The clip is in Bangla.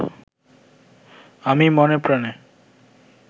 আমি মনে প্রাণে